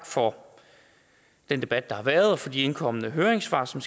for den debat der været og for de indkomne høringssvar som